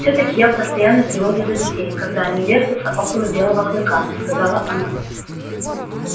все таки я в постоянной тревоге за детей когда они вертятся около белого клыка сказала она